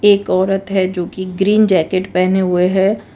एक औरत है जो कि ग्रीन जैकेट पहने हुए है।